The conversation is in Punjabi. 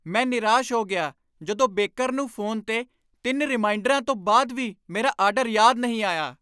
ਮੈਂ ਨਿਰਾਸ਼ ਹੋ ਗਿਆ ਜਦੋਂ ਬੇਕਰ ਨੂੰ ਫ਼ੋਨ 'ਤੇ ਤਿੰਨ ਰੀਮਾਈਂਡਰਾਂ ਤੋਂ ਬਾਅਦ ਵੀ ਮੇਰਾ ਆਰਡਰ ਯਾਦ ਨਹੀਂ ਆਇਆ